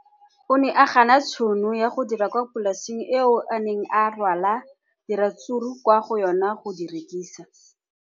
O ne a gana tšhono ya go dira kwa polaseng eo a neng rwala diratsuru kwa go yona go di rekisa.